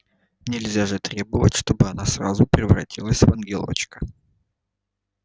нельзя же требовать чтобы она сразу превратилась в ангелочка